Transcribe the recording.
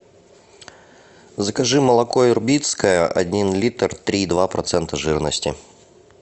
закажи молоко ирбитское один литр три и два процента жирности